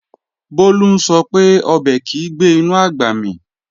Bólú ń sọ pé, ọbẹ̀ kìí gbé inú àgbà mì